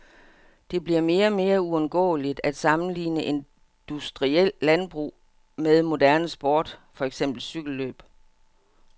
Det bliver mere og mere uundgåeligt at sammenligne industrielt landbrug med moderne sport, for eksempel cykellløb.